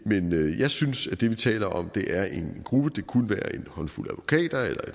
jeg synes at det vi taler om er en gruppe det kunne være en håndfuld advokater eller